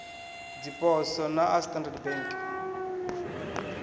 dziposo na a standard bank